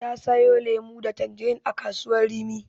Ta siyo lemon tsami da tanjirin a kasuwar Rimi.